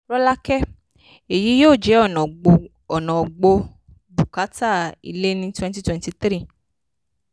rọ́lákẹ́: èyí yóò jẹ́ ọ̀nà gbọ́ bùkátà ilé ní twenty twenty three